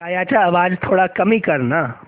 गाण्याचा आवाज थोडा कमी कर ना